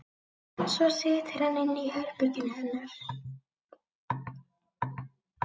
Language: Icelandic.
Svo situr hann inni í herberginu hennar.